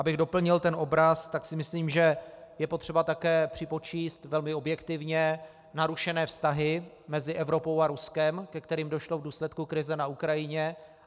Abych doplnil ten obraz, tak si myslím, že je potřeba také připočíst velmi objektivně narušené vztahy mezi Evropou a Ruskem, ke kterým došlo v důsledku krize na Ukrajině.